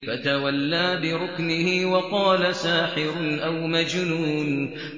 فَتَوَلَّىٰ بِرُكْنِهِ وَقَالَ سَاحِرٌ أَوْ مَجْنُونٌ